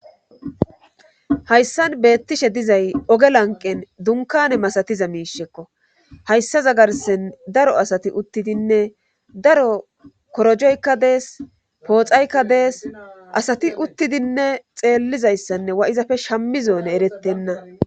Hayssan beettishe dizay oge lanqen dunkane masatiza miishekko hayssaza garsen daro asati uttidinne daro korojoykka dees pooxaykka dees asati uttidinne xeellizayssanne wa7izafe shammi zoone erettenna